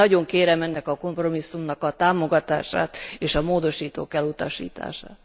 Nagyon kérem ennek a kompromisszumnak a támogatását és a módosítók elutasítását.